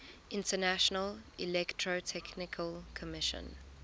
international electrotechnical commission